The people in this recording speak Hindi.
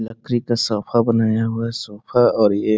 लकड़ी का सोफा बनाया हुआ है सोफा और ये --